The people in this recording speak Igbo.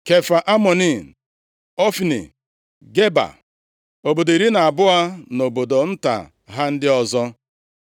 Kefa Amoni, Ofni, Geba, obodo iri na abụọ na obodo nta ha ndị ọzọ.